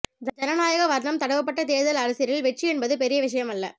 ஜனநாயக வர்ணம் தடவப்பட்ட தேர்தல் அரசியலில் வெற்றி என்பது பெரிய விஷயமல்ல